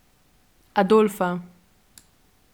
Adolfa.